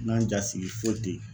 N'ga n ja sigi foyi ten yen